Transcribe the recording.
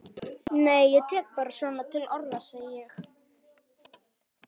Nei ég tek bara svona til orða, segi ég.